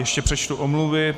Ještě přečtu omluvy.